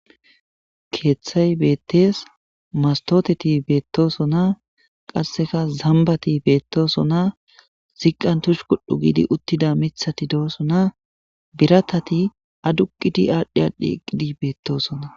keeththay beettees mastoteti beettoosona qasseka zambati beettoosona ziqqan tush kuddhu giidi uttida mithati doosona biratati aduqiti aadhdhi aadhdhi eqqidi beettoosona.